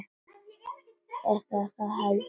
Eða það held ég ekki.